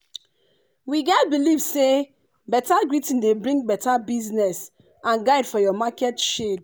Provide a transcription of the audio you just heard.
we get believe say beta greeting dey bring beta business and guide for your market shade